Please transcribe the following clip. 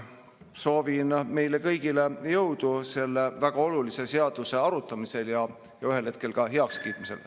Soovin meile kõigile jõudu selle väga olulise seaduseelnõu arutamisel ja ühel hetkel ka heakskiitmisel.